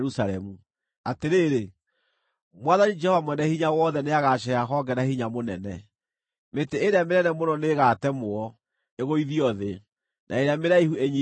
Atĩrĩrĩ, Mwathani, Jehova Mwene-Hinya-Wothe, nĩagaceeha honge na hinya mũnene. Mĩtĩ ĩrĩa mĩnene mũno nĩĩgatemwo, ĩgũithio thĩ, na ĩrĩa mĩraihu ĩnyiihio.